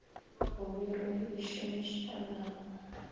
go biro ye e šomišanago